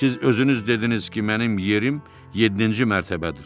Siz özünüz dediniz ki, mənim yerim yeddinci mərtəbədir.